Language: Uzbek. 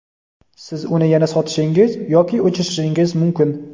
siz uni yana sotishingiz yoki o‘chirishingiz mumkin.